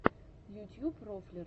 ютьюб рофлер